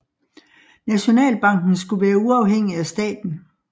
Nationalbanken skulle være uafhængig af staten